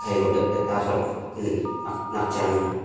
egohley teta chuakley n-n-nak chang a.